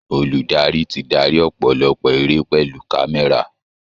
Olùdarí ti darí ọ̀pọ̀lọpọ̀ eré pẹ̀lú kámẹ́rà